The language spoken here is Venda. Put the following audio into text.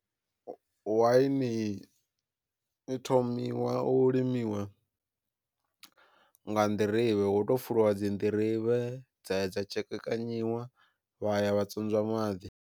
Waini i thomiwa u limiwa nga nḓirivhe hu to fulwa dzi nḓirivhe dza ya dza tshekekanyiwa vha ya vha tswodzwa maḓi.